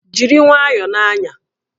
Jiri nwayọọ na-anya!